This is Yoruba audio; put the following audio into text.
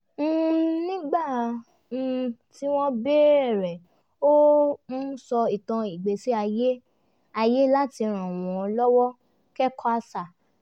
nígbà um tí wọ́n béèrè ó um sọ ìtàn ìgbésí ayé ayé láti ràn wọn lọ́wọ́ kẹ́kọ̀ọ́ àṣà